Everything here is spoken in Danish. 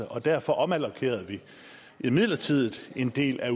og derfor omallokerede vi midlertidigt en del af